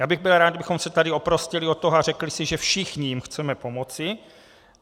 Já bych byl rád, kdybychom se tady oprostili od toho a řekli si, že všichni jim chceme pomoci.